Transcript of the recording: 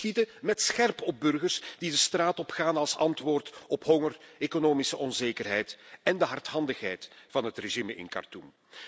Die schieten met scherp op burgers die de straat opgaan als antwoord op honger, economische onzekerheid en de hardhandigheid van het regime in Khartoem.